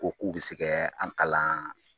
Ko k'u bi se kɛ a balan